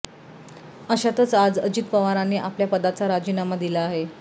अशातच आज अजित पवारांनी आपल्या पदाचा राजीनामा दिला आहे